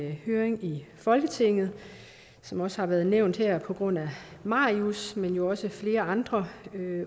en høring i folketinget som også har været nævnt her på grund af marius men jo også flere andre